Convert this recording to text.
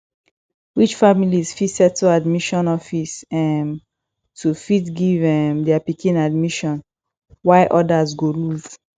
rich families fit settle admission office um to fit give um their pikin admission while odas go loose